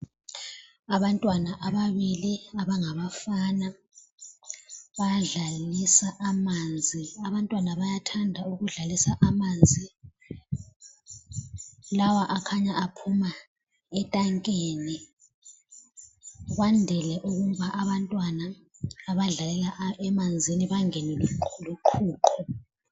Abantwana ababili abangaba bafana bayadlalisa amanzi. Abantwana bayathanda ukudlalisa amanzi. Lawa akhanya aphuma etankeni. Bandile ukuba abantwana abadlelela emanzini bangenwe luqhuqho.